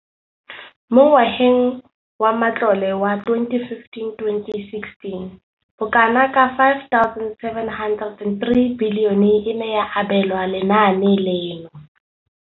Mo ngwageng wa matlole wa 2015,16, bokanaka R5 703 bilione e ne ya abelwa lenaane leno.